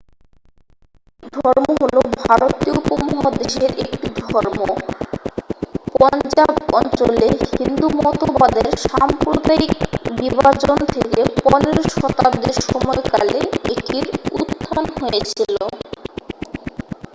শিখ ধর্ম হলো ভারতীয় উপমহাদেশের একটি ধর্ম পঞ্জাব অঞ্চলে হিন্দু মতবাদের সাম্প্রদায়িক বিভাজন থেকে 15 শতাব্দীর সময়কালে এটির উত্থান হয়েছিল